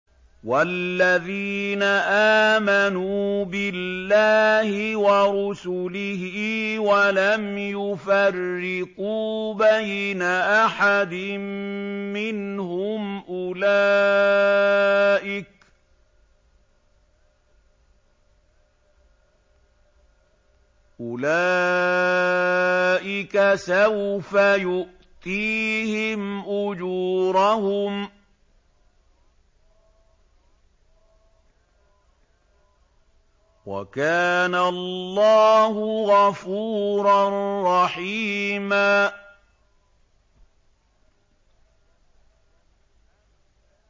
وَالَّذِينَ آمَنُوا بِاللَّهِ وَرُسُلِهِ وَلَمْ يُفَرِّقُوا بَيْنَ أَحَدٍ مِّنْهُمْ أُولَٰئِكَ سَوْفَ يُؤْتِيهِمْ أُجُورَهُمْ ۗ وَكَانَ اللَّهُ غَفُورًا رَّحِيمًا